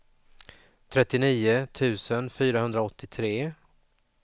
trettionio tusen fyrahundraåttiotre